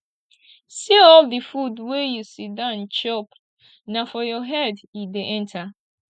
see all the food wey you sit down chop na for your head e dey enter